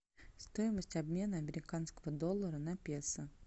стоимость обмена американского доллара на песо